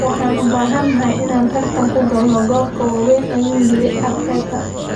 “Waan u baahanahay inaan tartan ku galno koobabka waaweyn,” ayuu yiri Arteta.